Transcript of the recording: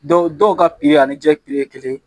Dɔw dɔw ka ani jɛ ye kelen ye